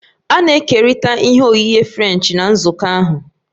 A na-ekerịta ihe oghighe Frenchi na nzukọ ahụ